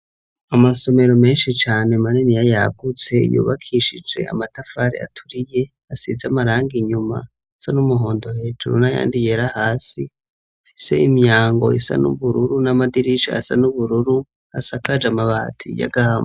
Amasomero menshi cane maniniya yagutse yubakishije amatafari aturiye asize amarangi inyuma asa n'umuhondo hejuru nayandi yera hasi afise imyango isa n'ubururu n'amadirishi asa n'ubururu asakaje amabati y'agahamu.